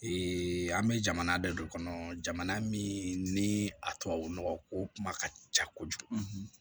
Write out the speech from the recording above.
an bɛ jamana de kɔnɔ jamana min ni a tubabu nɔgɔ ko kuma ka ca kojugu